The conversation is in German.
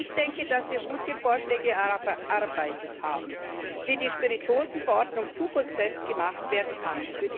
Ich denke, dass wir gute Vorschläge erarbeitet haben, wie die Spirituosenverordnung zukunftsfest gemacht werden kann.